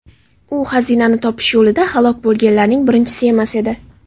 U xazinani topish yo‘lida halok bo‘lganlarning birinchisi emas edi.